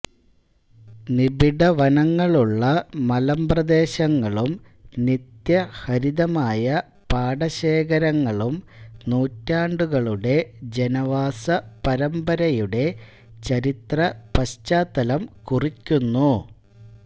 നിബിഡവനങ്ങളുള്ള മലമ്പ്രദേശങ്ങളും നിത്യഹരിതമായ പാടശേഖരങ്ങളും നൂറ്റാണ്ടുകളുടെ ജനവാസ പരമ്പരയുടെ ചരിത്രപശ്ചാത്തലം കുറിക്കുന്നു